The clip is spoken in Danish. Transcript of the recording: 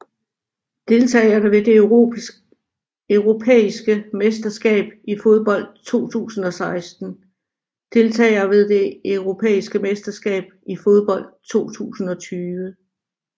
Deltagere ved det europæiske mesterskab i fodbold 2016 Deltagere ved det europæiske mesterskab i fodbold 2020